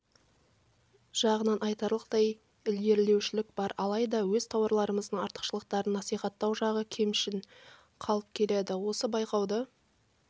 жағынан айтарлықтай ілгерілеушілік бар алайда өз тауарларымыздың артықшылықтарын насихаттау жағы кемшін қалып келеді осы байқауды